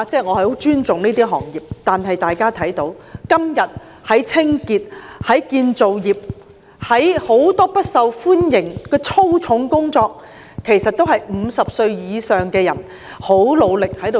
我很尊重這些行業，今天清潔工作、建造業工作、很多不受歡迎的粗重工作，其實也是由50歲以上的人很努力地做。